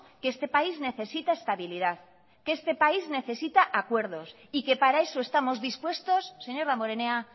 que este país necesita estabilidad que este país necesita acuerdos y que para eso estamos dispuestos señor damborenea